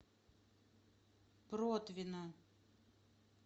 протвино